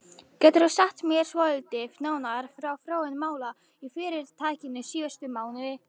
Geturðu sagt mér svolítið nánar frá þróun mála í fyrirtækinu síðustu mánuði?